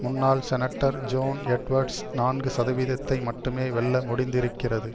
முன்னாள் senator John Edwards நான்கு சதவீதத்தை மட்டுமே வெல்ல முடிந்திருக்கிறது